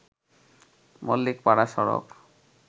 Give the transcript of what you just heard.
মল্লিকপাড়া সড়ক